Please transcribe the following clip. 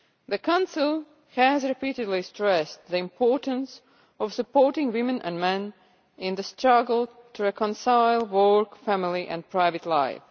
The Council has repeatedly stressed the importance of supporting women and men in the struggle to reconcile work, family and private life.